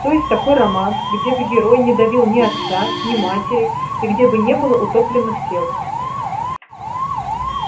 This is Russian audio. то есть такой роман где бы герой не давил ни отца ни матери и где бы не было утопленных тел